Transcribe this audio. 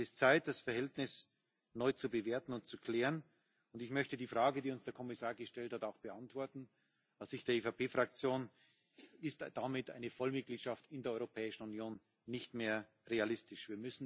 Es ist Zeit, das Verhältnis neu zu bewerten und zu klären. Und ich möchte auch die Frage, die uns der Kommissar gestellt hat, beantworten Aus Sicht der EVP Fraktion ist damit eine Vollmitgliedschaft in der Europäischen Union nicht mehr realistisch.